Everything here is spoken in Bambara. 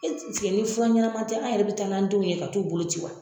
ni fura ɲɛnaman tɛ an yɛrɛ bɛ taa n'an denw ye ka t'u bolo ci wa.